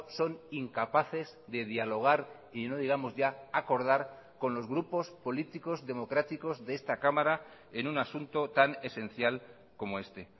son incapaces de dialogar y no digamos ya acordar con los grupos políticos democráticos de esta cámara en un asunto tan esencial como este